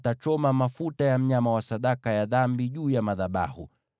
Pia atachoma mafuta ya mnyama wa sadaka ya dhambi juu ya madhabahu.